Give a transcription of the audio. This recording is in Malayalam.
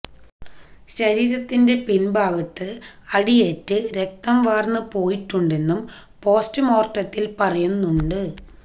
ശരീരത്തിന്റെ പിന്ഭാഗത്ത് അടിയേറ്റ് രക്തം വാര്ന്നു പോയിട്ടുണ്ടെന്നും പോസ്റ്റുമോര്ട്ടത്തില് പറയുന്നുണ്ട്